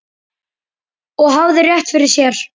Og hafði rétt fyrir sér.